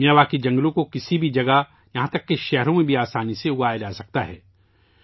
Miyawaki جنگلوں کو کسی بھی جگہ یہاں تک کہ شہروں میں بھی آسانی سے اگایا جاسکتا ہے